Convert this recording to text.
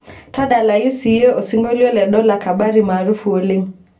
tadalayu siiyie osingolio le dola kabari maarufu oleng'